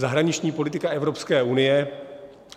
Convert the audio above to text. Zahraniční politika Evropské unie.